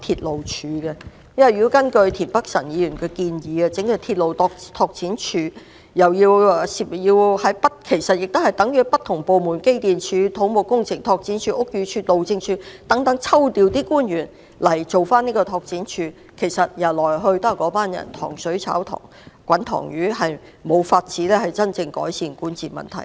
如果根據田北辰議員的建議成立鐵路拓展署，其實等於從不同部門如機電工程署、土木工程拓展署、屋宇署及路政署等抽調官員執行有關工作，來來去去由同一群人負責，無法真正改善管治問題。